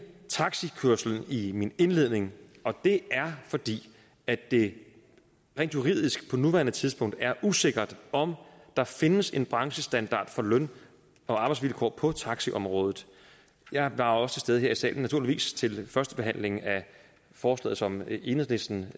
taxikørslen i min indledning og det er fordi det rent juridisk på nuværende tidspunkt er usikkert om der findes en branchestandard for løn og arbejdsvilkår på taxiområdet jeg var også til stede her i salen naturligvis til første behandling af forslaget som enhedslisten